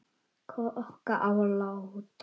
Hvor okkar á að láta